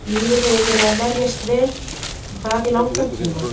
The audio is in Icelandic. Liðið hefur verið að verjast vel og það í langan tíma.